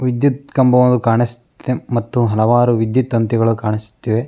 ವಿದ್ಯುತ್ ಕಂಬವು ಕಾಣಸ್ತಿದೆ ಮತ್ತು ಹಲವಾರು ವಿದ್ಯುತ್ ತಂತಿಗಳು ಕಾಣಿಸುತ್ತಿವೆ.